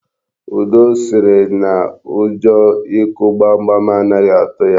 Udo sịrị na ụjọ ịkụ gbamgbam anaghị atụ ya.